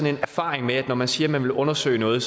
en erfaring med at når man siger at man vil undersøge noget